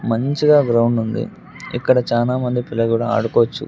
మంచిగా గ్రౌండ్ ఉంది ఇక్కడ చానామంది పిల్లలు కూడా ఆడుకోవచ్చు.